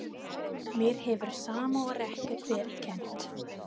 Mér hefur sama og ekkert verið kennt.